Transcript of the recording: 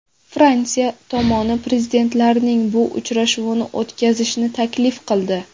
Fransiya tomoni prezidentlarning bu uchrashuvini o‘tkazishni taklif qildi.